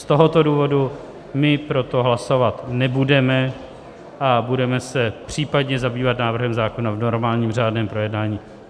Z tohoto důvodu my pro to hlasovat nebudeme a budeme se případně zabývat návrhem zákona v normálním řádném projednání.